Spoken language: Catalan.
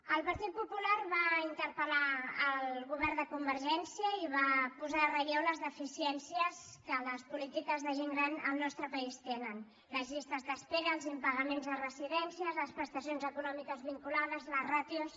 el partit popular va interpel·gència i va posar en relleu les deficiències que les polítiques de gent gran al nostre país tenen les llistes d’espera els impagaments a residències les prestacions econòmiques vinculades les ràtios